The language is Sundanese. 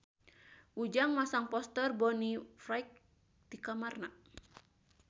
Ujang masang poster Bonnie Wright di kamarna